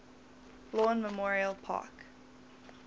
lawn memorial park